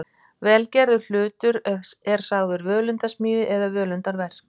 Vel gerður hlutur er sagður völundarsmíði eða völundarverk.